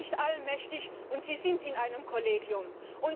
Sie sind nicht allmächtig, und Sie gehören einem Kollegium an.